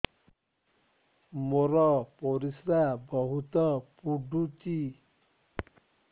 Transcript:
ମୋର ପରିସ୍ରା ବହୁତ ପୁଡୁଚି